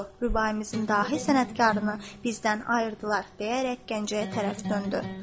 Rübaimizin dahi sənətkarını bizdən ayırdılar, deyərək Gəncəyə tərəf döndü.